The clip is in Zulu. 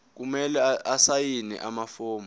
kumele asayine amafomu